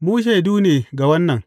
Mu shaidu ne ga wannan.